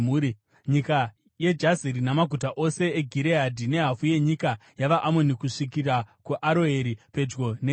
Nyika yeJazeri, namaguta ose eGireadhi, nehafu yenyika yavaAmoni, kusvikira kuAroeri, pedyo neRabha;